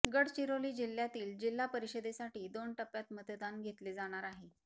गडचिरोली जिल्ह्यातील जिल्हा परिषदेसाठी दोन टप्प्यात मतदान घेतले जाणार आहे